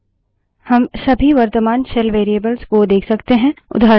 हम सभी वर्त्तमान shell variables को देख सकते हैं